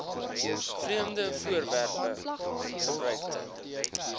vreemde voorwerpe gebruikte